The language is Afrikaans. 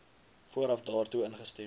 vooraf daartoe ingestem